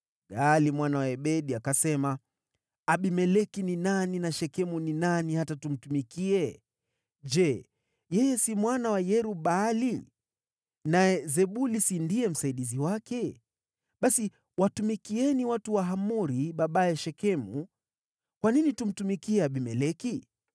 Gaali mwana wa Ebedi akasema, “Abimeleki ni nani, na Shekemu ni nani, hata tumtumikie? Je, yeye si mwana wa Yerub-Baali? Naye Zebuli si ndiye msaidizi wake? Basi watumikieni watu wa Hamori, babaye Shekemu. Kwa nini tumtumikie Abimeleki?